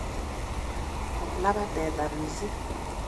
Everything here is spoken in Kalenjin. Kolabat teta mising